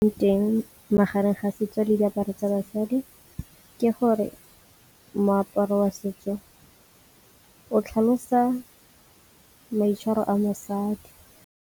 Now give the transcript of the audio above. Teng magareng ga setso le diaparo tsa basadi, ke gore moaparo wa setso o tlhalosa maitshwaro a mosadi.